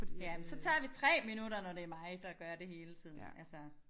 Ja men så tager vi 3 minutter når det mig der gør det hele tiden altså